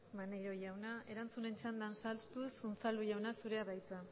maneiro jauna erantzunen txandan sartuz unzalu jauna zurea da hitza